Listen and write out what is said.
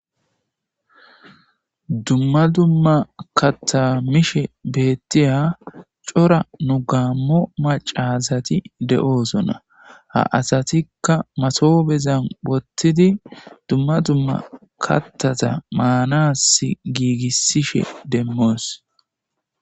Dumma dumma kattamishe beettiya cora nu gaammo macazati de'oosonna ha asatikka masoobezan wottidi dumma dumma kattata maanas giigisishe demmoos.